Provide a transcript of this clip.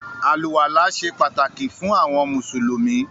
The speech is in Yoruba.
“Àlùwàlá” se pàtàkì fún àwọn mùsùlùmí.